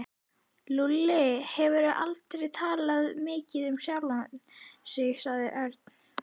Lúlli hefur aldrei talað mikið um sjálfan sig sagði Örn.